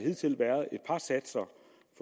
nej satser